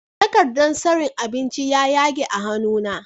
Takardar tsarin abinci ya yage a hannu na